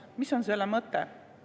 Mis on selle mõte?